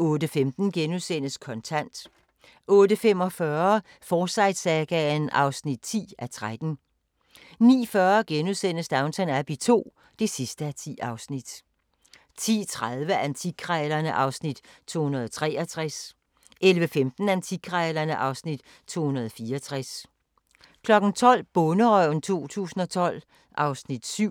08:15: Kontant * 08:45: Forsyte-sagaen (10:13) 09:40: Downton Abbey II (10:10)* 10:30: Antikkrejlerne (Afs. 263) 11:15: Antikkrejlerne (Afs. 264) 12:00: Bonderøven 2012 (Afs. 7)